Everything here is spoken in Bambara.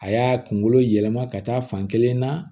A y'a kunkolo yɛlɛma ka taa fan kelen na